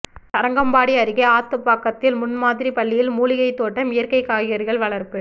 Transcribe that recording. தரங்கம்பாடி அருகே ஆத்துப்பாக்கத்தில் முன் மாதிரி பள்ளியில் மூலிகை தோட்டம் இயற்கை காய்கறிகள் வளர்ப்பு